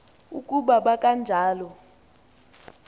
uku ba kanjalo